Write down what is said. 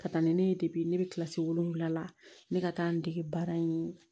Ka taa ni ne ye ne bɛ kilasi wolonwula la ne ka taa n dege baara in